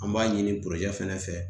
An b'a ɲini fɛnɛ fɛ